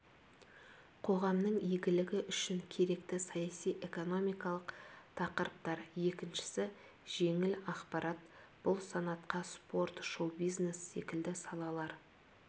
қоғамның игілігі үшін керекті саяси-экономикалық тақырыптар екіншісі жеңіл ақпарат бұл санатқа спорт шоу-бизнес секілді салалар